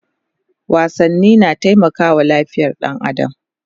wasanni na taimakawa lafiyar ɗan adam